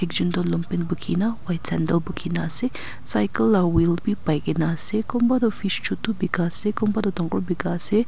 ekjun du lon pen bhukina white sandle bukhina asey cycle aro wheel bi pai gina asey kunba du fish chutu bika asey kunab du dangor bika asey--